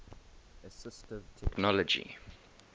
assistive technology